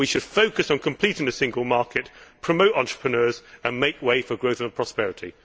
We should focus on completing the single market, promote entrepreneurs and make way for growth and prosperity.